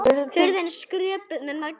Hurðin skröpuð með nagla.